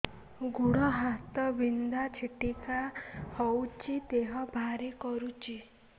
ଗୁଡ଼ ହାତ ବିନ୍ଧା ଛିଟିକା ହଉଚି ଦେହ ଭାରି କରୁଚି